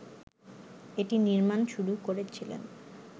এটি নির্মাণ শুরু করেছিলেন